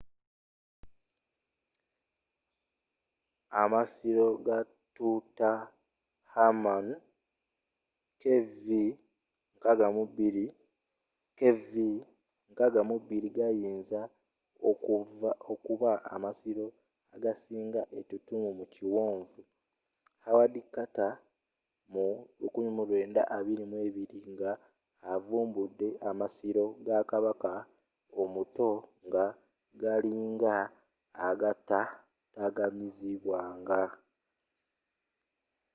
amasiro ga tutankhamun kv62. kv62 gayinza okuba amasiro agasinga etutumu mu ekiwonvu howard carter mu 1922 nga avumbudde amasiro ga kabaka omuto nga galinga agatataataaganyizibwanga